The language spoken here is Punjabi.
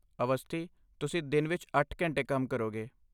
ਅਵਸਥੀ, ਤੁਸੀਂ ਦਿਨ ਵਿੱਚ ਅੱਠ ਘੰਟੇ ਕੰਮ ਕਰੋਗੇ